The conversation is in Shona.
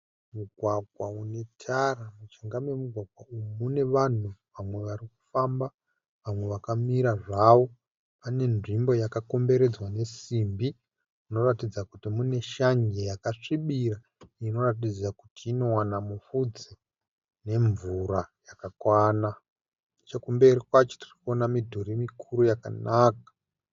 Mugwagwa une tara. Mujinga memugwagwa uyu mune vanhu vamwe varikufamba vamwe vakamira zvavo. Pane nzvimbo yakakomberedzwa nesimbi inoratidza kuti mune shanje yakasvibira inoratidza kuti inowana mufudze nemvura yakakwana. Chekumberi kwacho kune midhuri mikuru yakanaka.